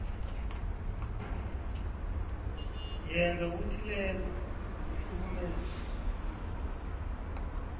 yenza okuthileko ngokuhlukumeza